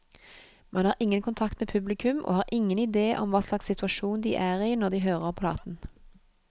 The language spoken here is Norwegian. Man har ingen kontakt med publikum, og har ingen idé om hva slags situasjon de er i når de hører platen.